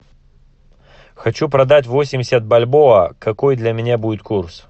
хочу продать восемьдесят бальбоа какой для меня будет курс